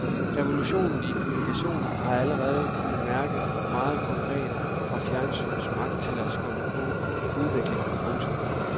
Revolutionen i kommunikation har vi allerede kunnet mærke meget konkret fra fjernsynets magt til skubbe på udviklingen. punktum